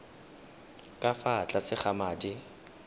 ka fa tlase ga madi